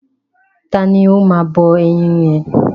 Ta ni ó máa bọ ẹyin yẹn?